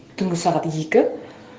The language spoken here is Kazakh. түнгі сағат екі